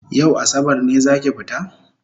Yau asabar ne zaki fita?